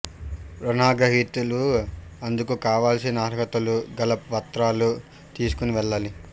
రుణాగ్రహీతలు అందుకు కావాల్సీన అర్హతకు గల పత్రాలు తీసుకొని వెళ్లాలి